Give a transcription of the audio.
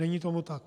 Není tomu tak.